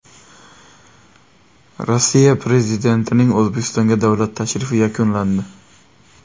Rossiya prezidentining O‘zbekistonga davlat tashrifi yakunlandi.